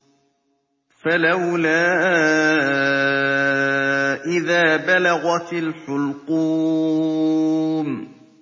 فَلَوْلَا إِذَا بَلَغَتِ الْحُلْقُومَ